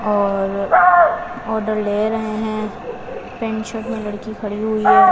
और ऑर्डर ले रहे हैं पेंट शर्ट में लड़की खड़ी हुई है।